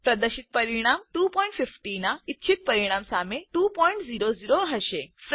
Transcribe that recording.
પ્રદર્શિત પરિણામ 250 ના ઈચ્છિત પરિણામ સામે 200 હશે